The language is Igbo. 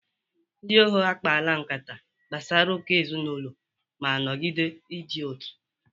Ndị ogo akpala nkata gbasara uka ezinụlọ ma nọgide idị n'otu.